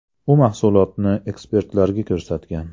U mahsulotni ekspertlarga ko‘rsatgan.